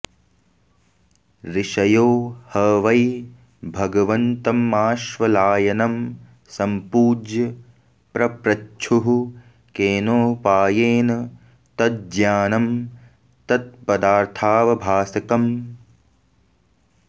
ऋषयो ह वै भगवन्तमाश्वलायनं सम्पूज्य पप्रच्छुः केनोपायेन तज्ज्ञानं तत्पदार्थावभासकम्